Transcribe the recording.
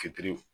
Fitiri